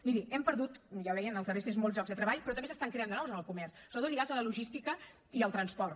miri hem perdut ja ho deia en els darrers temps molts llocs de treball però també se n’estan creant de nous en el comerç sobretot lligats a la logística i al transport